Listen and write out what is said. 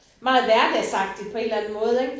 Meget hverdagsagtigt på en eller anden måde ikk